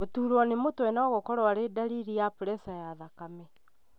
Gũturwo nĩ mũtwe nogũkorwo arĩ ndariri ya preca ya thakame